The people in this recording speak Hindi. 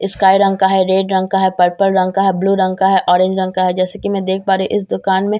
इस्काई रंग का है रेड रंग का है पर्पल रंग का है ब्लू रंग का है ऑरेंज रंग का है जैसे कि मैं देख पा रही हूँ इस दुकान में --